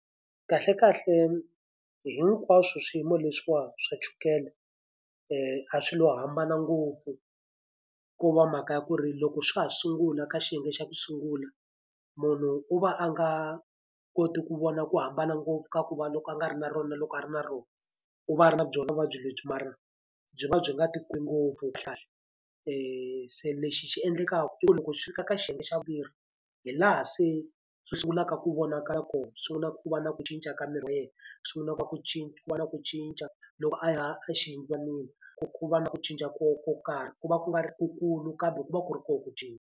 Kahlekahle hinkwaswo swiyimo leswiwa swa chukele a swi lo hambana ngopfu, ko va mhaka ya ku ri loko swa ha sungula ka xiyenge xa ku sungula, munhu u va a nga koti ku vona ku hambana ngopfu ka ku va loko a nga ri na rona loko a ri na rona. U va a ri na byona vuvabyi lebyi mara byi va byi nga ngopfu. Se lexi xi endlekaka i ku loko swi fika ka xiyenge xa vumbirhi, hi laha se u sungulaka ku vonakala kona, u sungula ku va na ku cinca ka miri wa yena, sungulaka ku va ku ku va na ku cinca loko a ya exiyindlwanini. Ku ku va na ku cinca ko ko karhi, ku va ku nga ri ku kulu kambe ku va ku ri kona ku cinca.